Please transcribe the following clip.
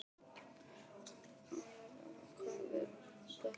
Arabella, hvað er í dagatalinu í dag?